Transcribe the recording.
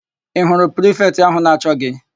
Ị hụrụ prifetị áhụ̀ na-achọ gị?